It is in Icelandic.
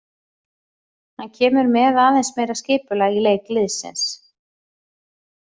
Hann kemur með aðeins meira skipulag í leik liðsins.